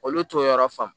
Olu t'o yɔrɔ fa